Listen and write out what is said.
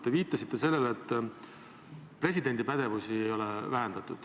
Te viitasite sellele, et presidendi pädevust ei ole vähendatud.